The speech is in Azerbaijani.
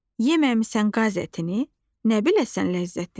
Yeməmisən qaz ətini, nə biləsən ləzzətini.